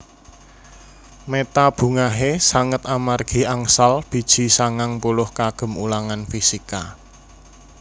Meta bungahe sanget amargi angsal biji sangang puluh kagem ulangan fisika